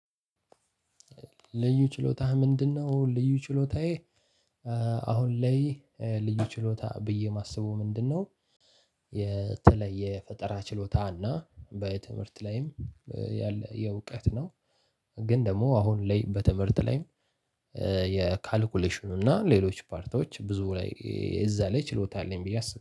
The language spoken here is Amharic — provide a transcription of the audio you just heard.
ልዩ ችሎታህ ምንድነው? ልዩ ችሎታዬ አሁን ላይ ልዩ ችሎታ ብዬ የማስበው ምንድነው? የተለየ ፈጠራ ችሎታ እና በትምህርት ላይም ያለ የእውቀት ነው። ግን ደግሞ አሁን ላይ በትምህርት ላይም የካልኩሌሽኑ እና ሌሎች ፓርቶች ብዙ ላይ እዛ ላይ ችሎታ አለኝ ብዬ አስብ